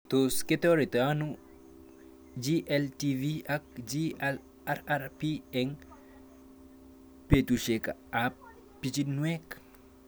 Tos kitaretitoi ano GLTV ak GLRRP eng' petushek ab pichiinwek